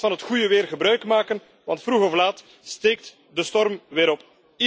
Laat ons van het goede weer gebruikmaken, want vroeg of laat steekt de storm weer